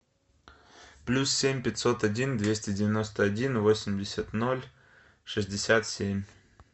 плюс семь пятьсот один двести девяносто один восемьдесят ноль шестьдесят семь